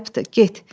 Ayıbdır, get.